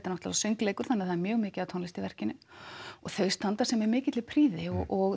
náttúrulega söngleikur þannig að það er mjög mikil tónlist í verkinu og þau standa sig með mikilli prýði og